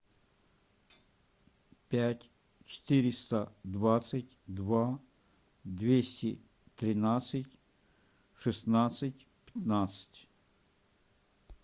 пять четыреста двадцать два двести тринадцать шестнадцать пятнадцать